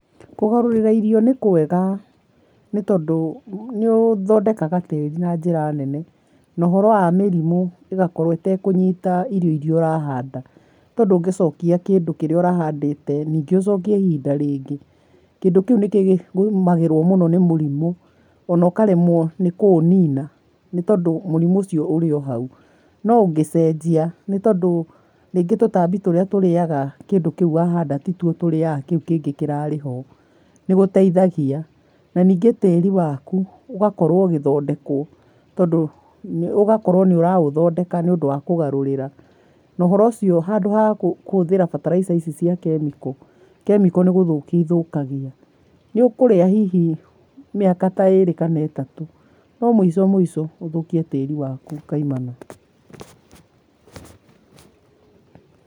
Kũgarũrĩra irio nĩkwega nĩtondũ nĩũthondekaga tĩri na njĩra nene. Na ũhoro wa mĩrimũ ĩgakorwo ĩtakũnyita irio iria ũrahanda, tondũ ũngicokia kindũ kĩrĩa ũrahandĩte ningĩ ũcokie ihinda rĩngĩ, kindũ kiu nĩkĩgũmagĩrwo mũno ni mũrimũ ona ũkaremwo nĩ kũunina, nĩ tondũ mũrimũ ũcio ũrĩ o hau. No ũngĩcejia nĩtondũ nĩngũ tũtambi tũrĩa tũrĩaga kindũ kiũ wahanda tituo tũrĩaga kiũ kĩngĩ kĩrarĩ ho, nĩgũteithagia na ningĩ tĩri waku ũgakorwo ũgĩthondekwo, tondũ nĩũgakorwo nĩũraũthondeka nĩũndũ wa kũgarurĩra. Na ũhoro ũcio handũ wa kũhũthĩra bataraitha ici cia kĩmĩko, kĩmĩko nĩ gũthukia ithũkagia nĩũkũrĩa hihi mĩaka ĩrĩ kana ĩtatũ no muico mũico ũthũkie tĩrĩ waku kaimana.